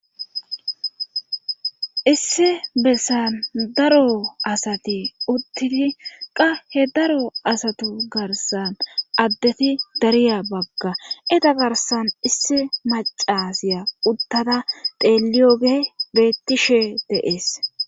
Issi bessan daro asati uttidi qa he daro asatu garsan addeti dariya bagga eta garsan issi macasiya uttada teliyoge bettishe deees